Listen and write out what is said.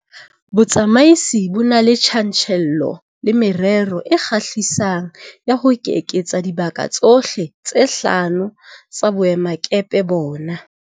Botsamaisi bo na le tjantjello le merero e kgahlisang ya ho eketsa dibaka tsohle tse hlano tsa boemakepe bona.